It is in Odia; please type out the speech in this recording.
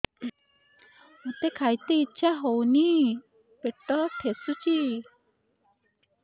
ମୋତେ ଖାଇତେ ଇଚ୍ଛା ହଉନି ପେଟ ଠେସୁଛି